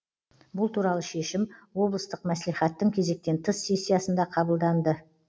бұл туралы шешім облыстық мәслихаттың кезектен тыс сессиясында қабылданды